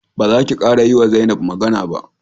Ba zaki kara yiwa Zainab magana ba!